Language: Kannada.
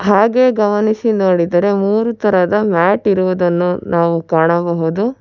ಹಾಗೆ ಗಮನಿಸಿ ನೋಡಿದರೆ ಮೂರು ತರಹದ ಮ್ಯಾಟ್ ಇರುವುದನ್ನು ನಾವು ಕಾಣಬಹುದು.